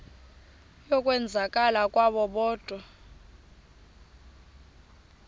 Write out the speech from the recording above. yokwenzakala kwabo kodwa